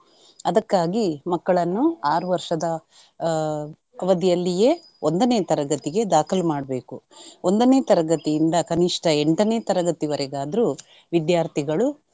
ಅದಕ್ಕಾಗಿ ಮಕ್ಕಳನ್ನು ಆರು ವರ್ಷದ ಆಹ್ ಅವಧಿಯಲ್ಲಿಯೆ ಒಂದನೆ ತರಗತಿಗೆ ದಾಖಲು ಮಾಡ್ಬೇಕು. ಒಂದನೆ ತರಗತಿಯಿಂದ ಕನಿಷ್ಠ ಎಂಟನೇ ತರಗತಿವರೆಗಾದ್ರು ವಿದ್ಯಾರ್ಥಿಗಳು.